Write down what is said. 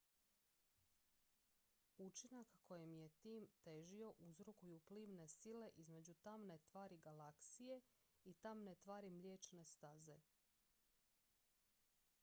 učinak kojem je tim težio uzrokuju plimne sile između tamne tvari galaksije i tamne tvari mliječne staze